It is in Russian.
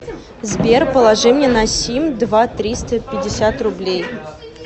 сбер положи мне на сим два триста пятьдесят рублей